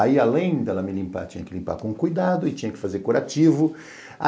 Aí, além dela me limpar, tinha que limpar com cuidado e tinha que fazer curativo.